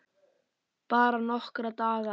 Bara nokkra daga.